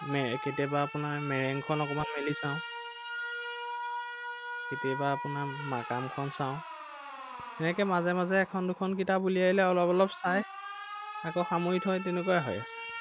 কেতিয়াবা আপোনাৰ মেৰেং খন অকণমান মেলি চাও। কেতিয়াবা আপোনাৰ মাকামখন চাও। সেনেকৈ মাজে মাজে এখন দুখন কিতাপ উলিয়াই লৈ অলপ অলপ চাই, আকৌ সামৰি থৈ তেনেকুৱাই হৈ আছে।